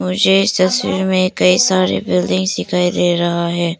मुझे इस तस्वीर में कई सारे बिल्डिंग्स सिखाई दे रहा है।